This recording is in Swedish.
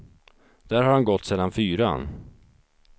Där har han gått sedan fyran.